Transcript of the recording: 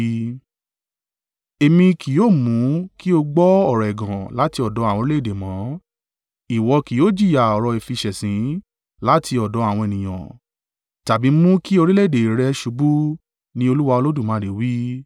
Èmi kì yóò mú ki ó gbọ́ ọ̀rọ̀ ẹ̀gàn láti ọ̀dọ̀ àwọn orílẹ̀-èdè mọ́, ìwọ kì yóò jìyà ọ̀rọ̀ ìfiṣẹ̀sín láti ọ̀dọ̀ àwọn ènìyàn tàbí mú kí orílẹ̀-èdè rẹ ṣubú, ni Olúwa Olódùmarè wí.’ ”